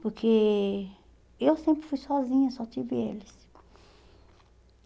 Porque eu sempre fui sozinha, só tive eles.